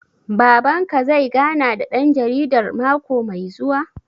Baban ka zai gana da ɗan jaridar mako mai zuwa?